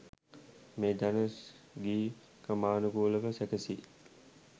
මේ ජන ගී ක්‍රමානුකූලව සැකසී